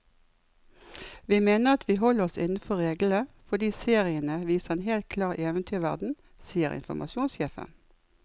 Vi mener at vi holder oss innenfor reglene, fordi seriene viser en helt klar eventyrverden, sier informasjonssjefen.